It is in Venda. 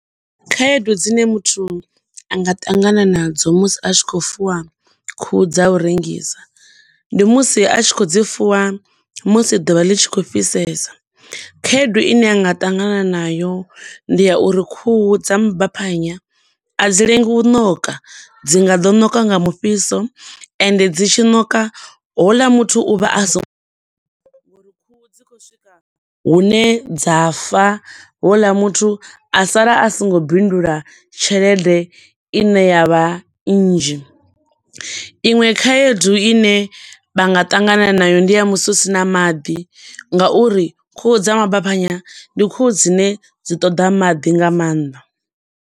Khaedu dzine muthu anga ṱangana na dzo musi a tshi khou fuwa khuhu dza u rengisa, ndi musi a tshi khou dzi fuwa musi ḓuvha ḽi tshi khou fhisesa. Khaedu ine a nga ṱangana na yo ndi ya uri khuhu dza mabaphanya a dzi lengi u ṋoka, dzi nga ḓo ṋoka nga mufhiso, ende dzi tshi ṋoka houḽa muthu u vha a songo ngo uri khuhu dzi khou swika hune dza fa, houḽa muthu asala a songo bindula tshelede ine yavha nnzhi. Iṅwe khaedu ine vha nga ṱangana na yo ndi ya musi husina maḓi nga uri khuhu dza mabaphanya, ndi khuhu dzine dzi ṱoḓa maḓi nga maanḓa.